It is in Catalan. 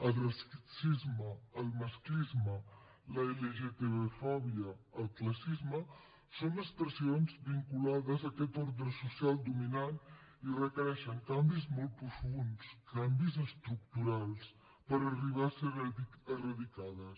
el racisme el masclisme l’lgtbfòbia el classisme són expressions vinculades a aquest ordre social dominant i requereixen canvis molt profunds canvis estructurals per arribar a ser erradicades